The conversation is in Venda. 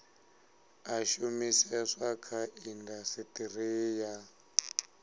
a shumiseswa kha indasiteri ya